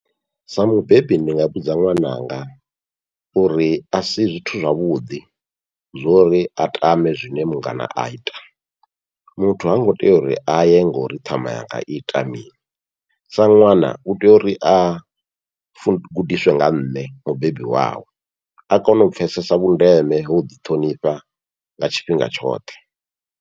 Sa mubebi ndi nga vhudza ṅwananga uri asi zwithu zwavhuḓi zwo uri a tame zwine mungana aita, muthu hango tea uri aye ngori ṱhama yanga iita mini, sa ṅwana utea uri a gudiswe nga nṋe mubebi wawe a kone u pfhesesa vhundeme ha uḓi ṱhonifha nga tshifhinga tshoṱhe.